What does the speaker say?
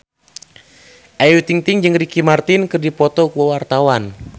Ayu Ting-ting jeung Ricky Martin keur dipoto ku wartawan